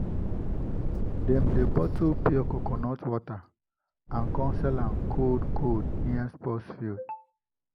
dem dey bottle pure coconut water and sell am cold-cold near sports field.